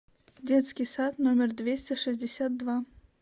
детский сад номер двести шестьдесят два